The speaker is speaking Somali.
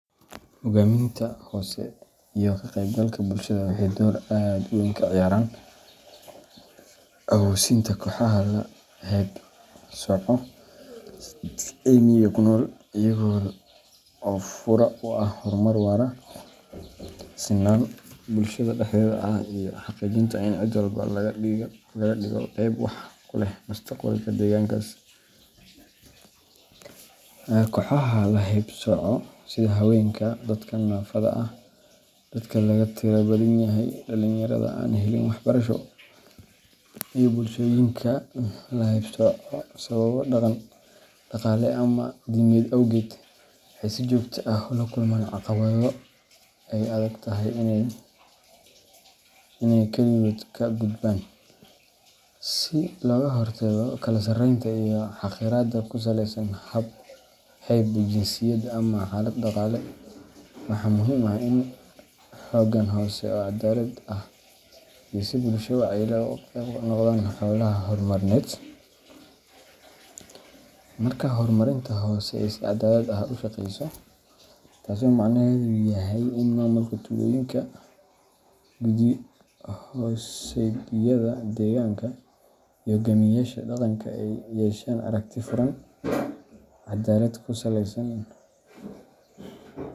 Hoggaaminta hoose iyo ka qaybgalka bulshada waxay door aad u weyn ka ciyaaraan awoosinta kooxaha la haybsooco ee miyiga ku nool, iyaga oo fure u ah horumar waara, sinaan bulshada dhexdeeda ah, iyo xaqiijinta in cid walba laga dhigo qayb wax ku leh mustaqbalka deegaankaas. Kooxaha la haybsooco sida haweenka, dadka naafada ah, dadka laga tirada badan yahay, dhalinyarada aan helin waxbarasho, iyo bulshooyinka la haybsooco sababo dhaqan, dhaqaale ama diimeed awgeed waxay si joogto ah ula kulmaan caqabado ay adag tahay inay kaligood ka gudbaan. Si looga hortago kala sarreynta iyo xaqiraadda ku saleysan hayb, jinsiyad, ama xaalad dhaqaale, waxaa muhiim ah in hoggaan hoose oo cadaalad ah iyo bulsho wacyi leh ay qayb ka noqdaan hawlaha horumarineed. Marka hoggaaminta hoose ay si cadaalad ah u shaqeyso taasoo macnaheedu yahay in maamulka tuulooyinka, guddi-hoosaadyada deegaanka, iyo hogaamiyeyaasha dhaqanka ay yeeshaan aragti furan, caddaalad ku saleysan.